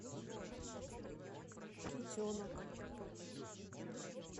китенок